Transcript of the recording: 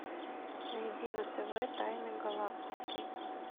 найди на тв тайны галактики